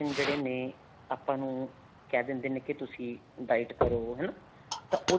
ਜਿਹੜੇ ਨੇ ਆਪਾਂ ਨੂੰ ਕਹਿ ਦਿੰਦੇ ਨੇ ਤੁਸੀਂ diet ਕਰੋ ਹਨਾ ਤਾਂ ਉਹਦੇ